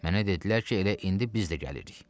Mənə dedilər ki, elə indi biz də gəlirik.